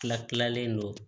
Tila kilalen don